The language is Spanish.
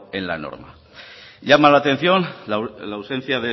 en la norma llama la atención la ausencia